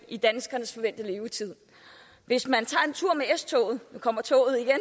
i danskernes forventede levetid hvis man tager en tur med s toget nu kommer toget igen